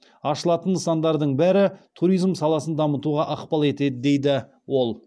ашылатын нысандардың бәрі туризм саласын дамытуға ықпал етеді дейді ол